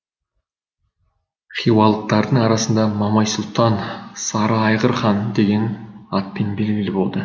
хиуалықтардың арасында мамай сұлтан сарыайғыр хан деген атпен белгілі болды